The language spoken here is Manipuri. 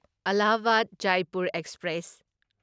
ꯑꯜꯂꯥꯍꯥꯕꯥꯗ ꯖꯥꯢꯄꯨꯔ ꯑꯦꯛꯁꯄ꯭ꯔꯦꯁ